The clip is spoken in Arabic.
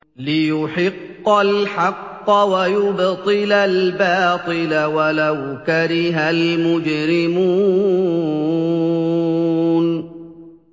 لِيُحِقَّ الْحَقَّ وَيُبْطِلَ الْبَاطِلَ وَلَوْ كَرِهَ الْمُجْرِمُونَ